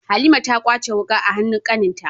Halima ta kwace wuka a hanun kaninta